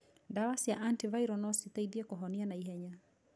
Ndawa cia anti viral no citeithie kũhonia naihenya.